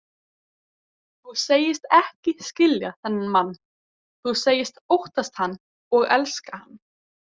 Þú segist ekki skilja þennan mann, þú segist óttast hann og elska hann.